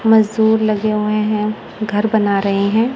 मजदूर लगे हुए हैं घर बना रहे हैं।